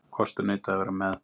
Kostur neitaði að vera með.